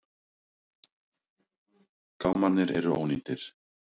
Gámarnir eru ónýtir.